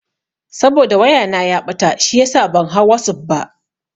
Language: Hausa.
Saboda waya na ya ɓata shiyasa ban hau wasuf ba.